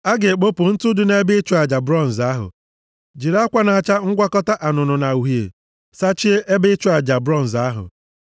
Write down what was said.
“A ga-ekpopụ ntụ dị nʼebe ịchụ aja bronz ahụ, jiri akwa na-acha ngwakọta anụnụ na uhie, sachie ebe ịchụ aja bronz ahụ.